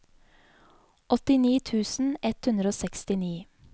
åttini tusen ett hundre og sekstini